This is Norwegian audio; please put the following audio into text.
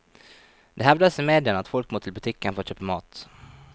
Det hevdes i mediene at folk må til butikken for å kjøpe mat.